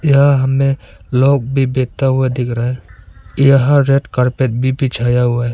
यह हमें लोग भी बैठा हुआ दिख रहा है यहां रेड कारपेट भी बिछाया हुआ है।